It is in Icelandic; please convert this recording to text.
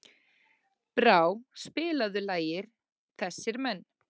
Brá, spilaðu lagið „Þessir Menn“.